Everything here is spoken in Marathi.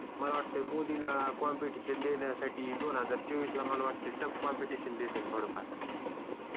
मला वाटतंय मोदीला ला कंपेटिशन देण्यासाठी दोन हजार चोवीस ला मला वाटतंय टफ कंपेटिशन देत्याल थोडं फार